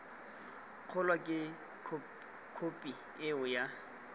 kgolo ke khophi eo ya